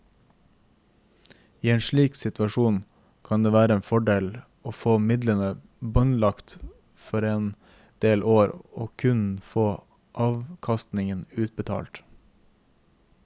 I en slik situasjon kan det være en fordel å få midlene båndlagt for en del år og kun få avkastningen utbetalt.